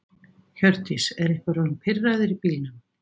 Hjördís: Er einhver orðinn pirraður í bílnum?